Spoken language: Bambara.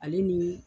Ale ni